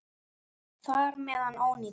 Þar með er hann ónýtur.